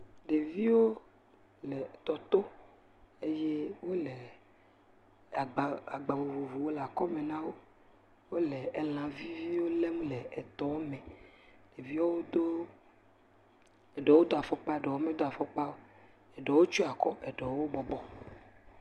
Ɖeviwo le etɔ to eye wole agba vovovwo le akɔme na wo. Wole elã viviviwo lém le etɔ me. Ɖeviwo do eɖewo do afɔkpa, eɖewo medo afɔkpa o, eɖewo tsyɔ akɔ, eɖewo bɔbɔ.